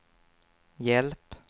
hjälp